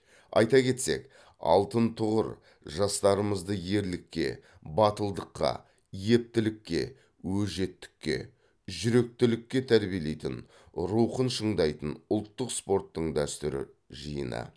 айта кетсек алтын тұғыр жастарымызды ерлікке батылдыққа ептілікке өжеттікке жүректілікке тәрбиелейтін рухын шыңдайтын ұлттық спорттың дәстүрі жиыны